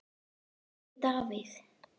Helgi Davíð.